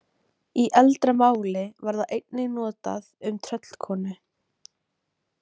Í eldra máli var það einnig notað um tröllkonu.